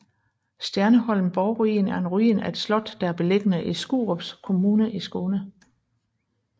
Stjerneholm borgruin er en ruin af et slot der er beliggende i Skurups kommun i Skåne